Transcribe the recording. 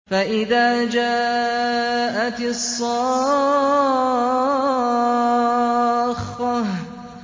فَإِذَا جَاءَتِ الصَّاخَّةُ